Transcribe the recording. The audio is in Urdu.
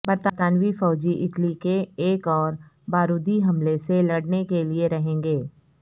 برطانوی فوجی اٹلی کے ایک اور بارودی حملے سے لڑنے کے لئے رہیں گے